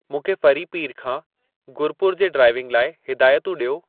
मूंखे फरीपीर खां गुरुपुर जे ड्राइविंग लाइ हिदायतूं ॾियो